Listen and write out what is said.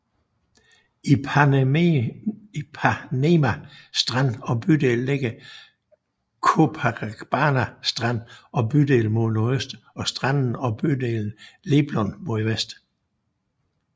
Ipanema strand og bydel ligger mellem Copacabana strand og bydel mod nordøst og stranden og bydelen Leblon mod vest